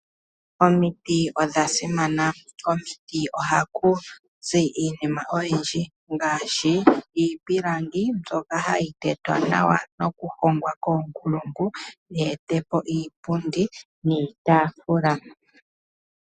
Omiti odha simana. Komiti oha kuzi iinima oyindji ngaashi iipilangi mbyoka hayi tetwa nawa oku hongwa koonkulungu ye etepo iipundi niitaafula.